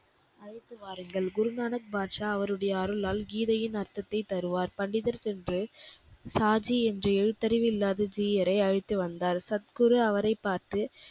அழைத்துவாருங்கள். குருநானக் பாட்ஷா அவருடைய அருளால் கீதையின் அர்த்தத்தைத் தருவார். பண்டிதர் சென்று சாஜி என்ற எழுத்தறிவில்லாத ஜீயரை அழைத்துவந்தார். சத்குரு அவரைப் பார்த்து,